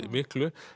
miklu